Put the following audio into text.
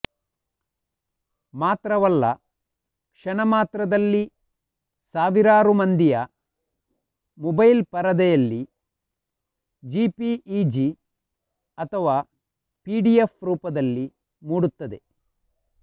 ಮಾತ್ರವಲ್ಲ ಕ್ಷಣಮಾತ್ರದಲ್ಲಿ ಸಾವಿರಾರು ಮಂದಿಯ ಮೊಬೈಲ್ ಪರದೆಯಲ್ಲಿ ಜೆಪಿಇಜಿ ಅಥವಾ ಪಿಡಿಎಫ್ ರೂಪದಲ್ಲಿ ಮೂಡುತ್ತದೆ